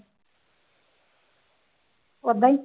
ਓਦਾਂ ਹੀ।